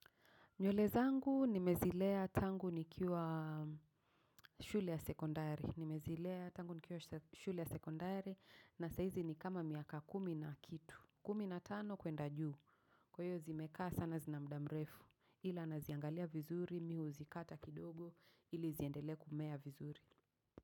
Nywele zangu nimezilea tangu nikiwa shule ya sekondari. Nimezilea tangu nikiwa shule ya sekondari na sahizi ni kama miaka kumi na kitu. Kumi na tano kwenda juu. Kwa hio zimekaa sana zina mda mrefu. Ila naziangalia vizuri mi huzikata kidogo ili ziendele kumea vizuri.